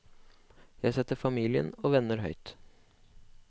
Jeg setter familien og venner høyt.